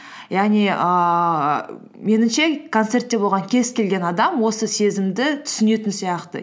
яғни ііі меніңше концертте болған кез келген адам осы сезімді түсінетін сияқты